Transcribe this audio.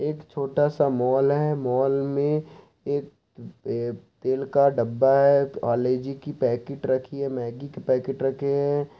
एक छोटा-सा मॉल है| मॉल में एक-क-अ तेल का डब्बा है पारले-जी की पैकेट रखी है मैगी की पैकेट रखे हैं।